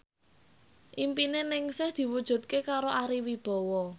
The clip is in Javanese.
impine Ningsih diwujudke karo Ari Wibowo